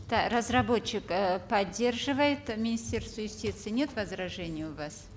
разработчик э поддерживает министерство юстиции нет возражений у вас